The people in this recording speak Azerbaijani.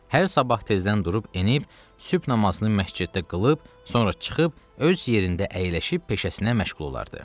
Hər sabah tezdən durub enib, sübh namazını məsciddə qılıb, sonra çıxıb öz yerində əyləşib peşəsinə məşğul olardı.